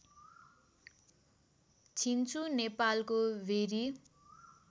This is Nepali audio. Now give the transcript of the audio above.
छिन्चु नेपालको भेरी